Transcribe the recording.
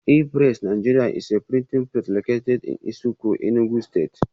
E-pressiNigeria is a printing press located in Nsukka Enugu stste